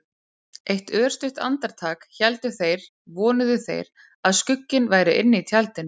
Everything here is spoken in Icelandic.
Eitt örstutt andartak héldu þeir- vonuðu þeir- að skugginn væri inni í tjaldinu.